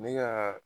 Ne ka